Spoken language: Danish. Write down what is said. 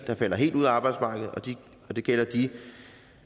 der falder helt ud af arbejdsmarkedet og det gælder de